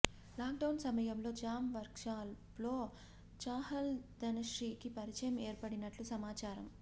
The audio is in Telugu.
లాక్ డౌన్ సమయంలో జూమ్ వర్క్షాప్ల్లో చాహల్ ధనశ్రీకి పరిచయం ఏర్పడినట్టు సమాచారం